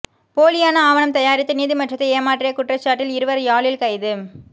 போலியான ஆவணம் தயாரித்து நீதிமன்றத்தை ஏமாற்றிய குற்றச்சாட்டில் இருவர் யாழில் கைது